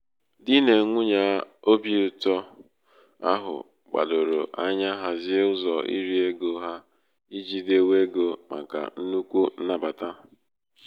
di nà nwunyè obīụ̄tọ̄ ahụ gbàdòrò anya hazie ụzọ̀ irī ego ha ijī dewe egō̄ màkà nnukwu nnabàta.